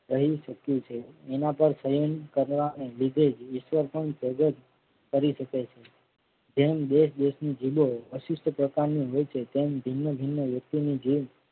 રહી ચુકી છે. એના પર થયેલ કરવા ને લીધે જ ઈશ્વર પણ ધગજ કરી શકે છે. તેમ બે દેશ ની જિલ્લો વિશિષ્ટ પ્રકાર ની હોય છે તેમ ભિન્ન ભિન્ન વ્યક્તિ ની જેમ